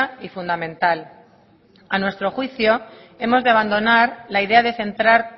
y fundamental a nuestro juicio hemos de abandonar la idea de centrar